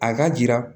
A ka jira